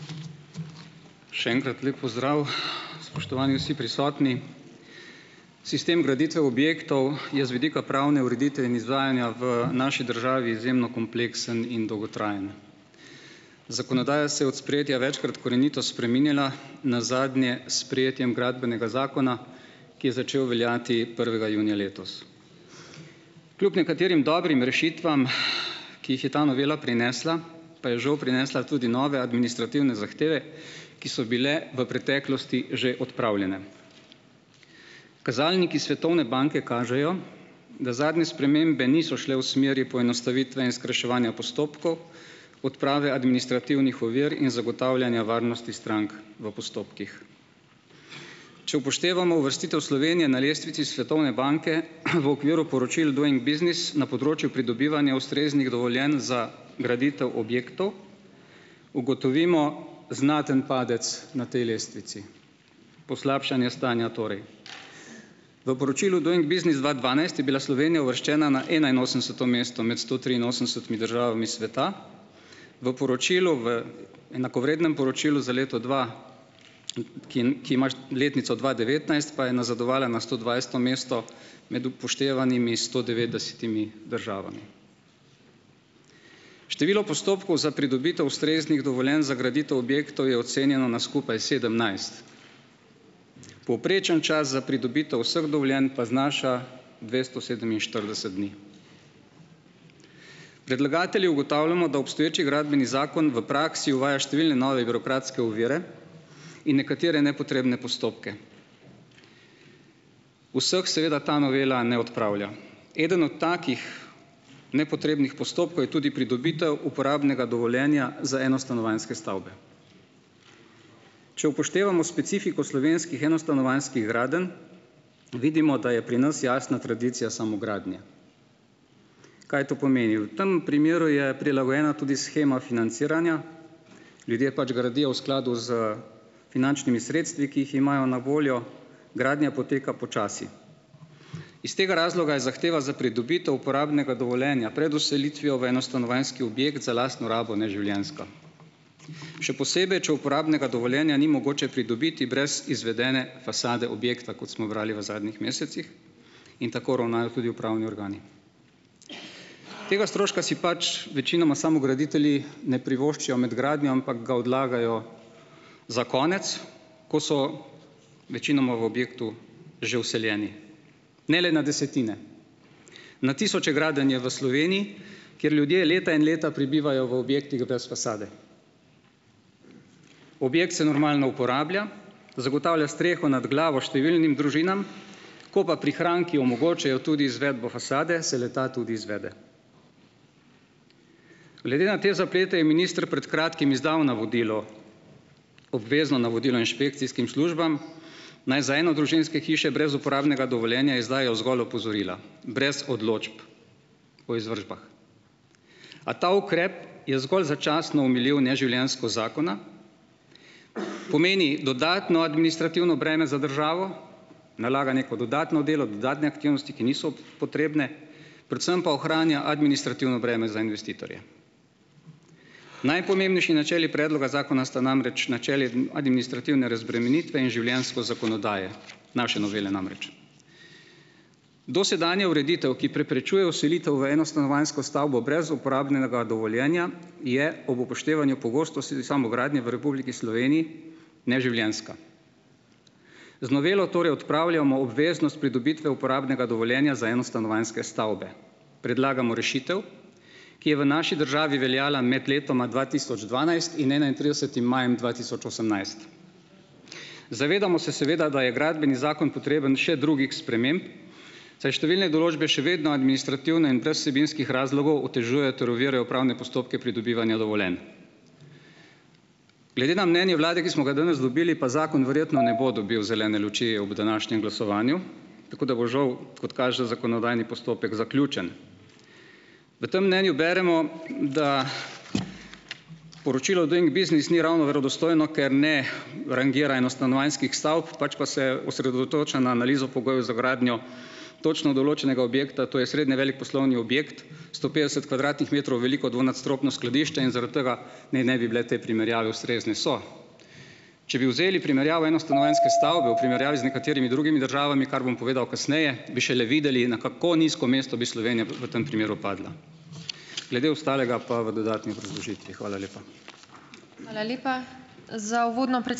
Še enkrat lep pozdrav! Spoštovani vsi prisotni! Sistem graditev objektov je z vidika pravne ureditve in izvajanja v naši državi izjemno kompleksen in dolgotrajen. Zakonodaja se je od sprejetja večkrat korenito spreminjala, nazadnje s sprejetjem gradbenega zakona, ki je začel veljati prvega junija letos. Kljub nekaterim dobrim rešitvam, ki jih je ta novela prinesla, pa je žal prinesla tudi nove administrativne zahteve, ki so bile v preteklosti že odpravljene. Kazalniki svetovne banke kažejo, da zadnje spremembe niso šle v smeri poenostavitve in skrajševanja postopkov, odprave administrativnih ovir in zagotavljanja varnosti strank v postopkih. Če upoštevamo uvrstitev Slovenije na lestvici svetovne banke, v okviru poročil Doing business na področju pridobivanja ustreznih dovoljenj za graditev objektov, ugotovimo znaten padec na tej lestvici, poslabšanja stanja torej. V poročilu Doing business dva dvanajst je bila Slovenija uvrščena na enainosemdeseto mesto imeti sto triinosemdesetimi državami sveta, v poročilu v enakovrednem poročilu za leto dva, ki ki ima letnico dva devetnajst, pa je nazadovala na stodvajseto mesto med upoštevanimi sto devetdesetimi državami. Število postopkov za pridobitev ustreznih dovoljenj za graditev objektov je ocenjeno na skupaj sedemnajst. Povprečen čas za pridobitev vseh dovoljenj pa znaša dvesto sedeminštirideset dni. Predlagatelji ugotavljamo, da obstoječi gradbeni zakon v praksi uvaja številne nove birokratske ovire in nekatere nepotrebne postopke. Vseh seveda ta novela ne odpravlja. Eden od takih nepotrebnih postopkov je tudi pridobitev uporabnega dovoljenja za enostanovanjske stavbe. Če upoštevamo specifiko slovenskih enostanovanjskih gradenj, vidimo, da je pri nas jasna tradicija samogradnje. Kaj to pomeni? V tem primeru je prilagojena tudi shema financiranja. Ljudje pač gradijo v skladu s finančnimi sredstvi, ki jih imajo na voljo, gradnja poteka počasi. Iz tega razloga je zahteva za pridobitev uporabnega dovoljenja pred vselitvijo v enostanovanjski objekt za lastno rabo neživljenjska. Še posebej, če uporabnega dovoljenja ni mogoče pridobiti brez izvedene fasade objekta, kot smo brali v zadnjih mesecih, in tako ravnajo tudi upravni organi. Tega stroška si pač večinoma samograditelji ne privoščijo med gradnjo, ampak ga odlagajo za konec, ko so večinoma v objektu že vseljeni. Ne le na desetine. Na tisoče gradenj je v Sloveniji, kjer ljudje leta in leta prebivajo v objektih brez fasade. Objekt se normalno uporablja, zagotavlja streho nad glavo številnim družinam, ko pa prihranki omogočajo, tudi izvedbo fasado se le-ta tudi izvede. Glede na te zaplete je minister pred kratkim izdal navodilo, obvezno navodilo inšpekcijskim službam, naj za enodružinske hiše brez uporabnega dovoljenja izdajo zgolj opozorila brez odločb o izvršbah. A ta ukrep je zgolj začasno omilil neživljenjskost zakona, pomeni dodatno administrativno breme za državo, nalaganje kot dodatno delo, dodatne aktivnosti, ki niso potrebne, predvsem pa ohranja administrativno breme za investitorje. Najpomembnejši načeli predloga zakona sta namreč načeli administrativne razbremenitve in življenjskost zakonodaje, naše novele namreč. Dosedanja ureditev, ki preprečuje vselitev v enostanovanjsko stavbo brez uporabnega dovoljenja, je ob upoštevanju pogostosti samogradnje v Republiki Sloveniji neživljenjska. Z novelo torej odpravljamo obveznost pridobitve uporabnega dovoljenja za enostanovanjske stavbe. Predlagamo rešitev, ki je v naši državi veljala med letoma dva tisoč dvanajst in enaintridesetim majem dva tisoč osemnajst. Zavedamo se seveda, da je Gradbeni zakon potreben še drugih sprememb, saj številne določbe še vedno administrativno in brez vsebinskih razlogov otežujejo ter ovirajo pravne postopke pridobivanja dovoljenj. Glede na mnenje vlade, ki smo ga danes dobili, pa zakon verjetno ne bo dobil zelene luči ob današnjem glasovanju, tako da bo, žal, kot kaže, zakonodajni postopek zaključen. V tem mnenju beremo, da poročilo Doing business ni ravno verodostojno, ker ne rangira enostanovanjskih stavb, pač pa se osredotoča na analizo pogojev za gradnjo točno določenega objekta, to je srednje velik poslovni objekt, sto petdeset kvadratnih metrov veliko dvonadstropno skladišče in zaradi tega naj ne bi bile te primerjave ustrezne. So. Če bi vzeli primerjavo enostanovanjske stavbe v primerjavi z nekaterimi drugimi državami, kar bom povedal kasneje, bi šele videli, na kako nizko mesto bi Slovenija v tem primeru padla. Glede ostalega pa v dodatni obrazložitvi. Hvala lepa.